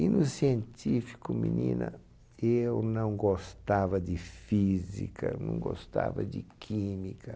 E no científico, menina, eu não gostava de física, não gostava de química.